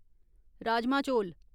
राजमाह् चौल